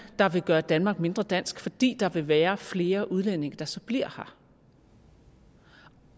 der vil gøre danmark mindre dansk fordi der vil være flere udlændinge der så bliver her